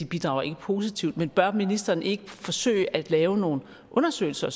bidrager positivt men bør ministeren så ikke forsøge at lave nogle undersøgelser